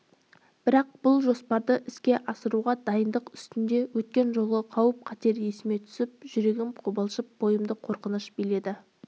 бірақ бұл жоспарды іске асыруға дайындық үстінде өткен жолғы қауіп-қатер есіме түсіп жүрегім қобалжып бойымды қорқыныш биледі